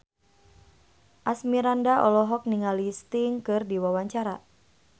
Asmirandah olohok ningali Sting keur diwawancara